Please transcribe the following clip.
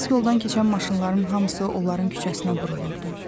Əsas yoldan keçən maşınların hamısı onların küçəsinə burulurdu.